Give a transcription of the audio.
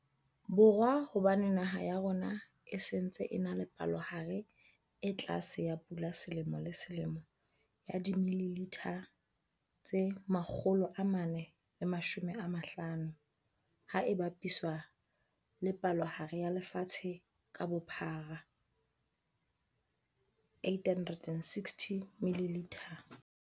Borwa hobane naha ya rona e se ntse e na le palohare e tlase ya pula selemo le selemo ya dimililitha tse 450, ha e bapiswa le palohare ya lefatshe ka bophara 860ml.